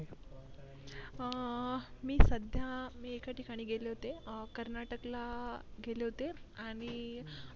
अं मी सध्या मी एका ठिकाणी गेली होते कर्नाटकला गेले होते आणि